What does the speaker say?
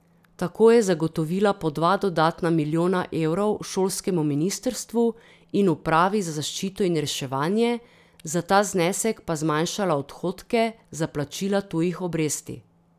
Tako je zagotovila po dva dodatna milijona evrov šolskemu ministrstvu in upravi za zaščito in reševanje, za ta znesek pa zmanjšala odhodke za plačila tujih obresti.